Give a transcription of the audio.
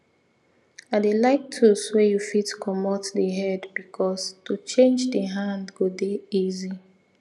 i dey like tools wey you fit comot the headbecause to change the hand go dey easy